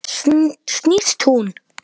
Snýst hún?